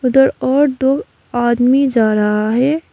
उधर और दो आदमी जा रहा है।